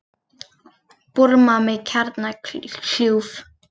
Búrma með kjarnakljúf